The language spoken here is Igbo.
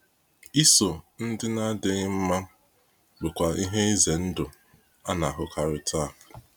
Iso ndị na-adịghị mma bụkwa ihe ize ndụ a na-ahụkarị taa.